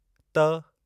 त